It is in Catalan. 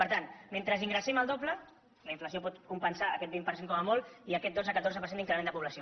per tant mentre ingressem el doble la inflació pot compensar aquest vint per cent com a molt i aquest dotze catorze per cent d’increment de població